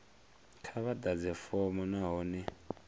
kha vha ḓadze fomo nahone